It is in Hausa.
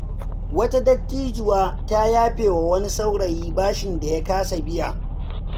Wata dattijuwa ta yafe wa wani saurayi bashin da ya kasa biya.